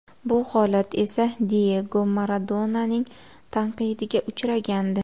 Bu holat esa Diyego Maradonaning tanqidiga uchragandi.